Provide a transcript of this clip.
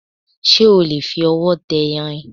Ṣé o lè fi ọwọ́ tẹ irin?